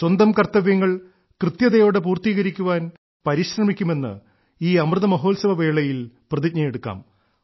സ്വന്തം കർത്തവ്യങ്ങൾ കൃത്യതയോടെ പൂർത്തീകരിക്കുവാൻ പരിശ്രമിക്കുമെന്ന് ഈ അമൃത മഹോത്സവ വേളയിൽ പ്രതിജ്ഞയെടുക്കാം